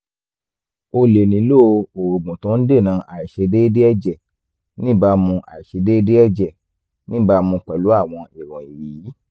o lè nílò oògùn tó ń dènà àìṣedéédéé ẹ̀jẹ̀ níbàámu àìṣedéédéé ẹ̀jẹ̀ níbàámu pẹ̀lú àwọn ìròyìn yìí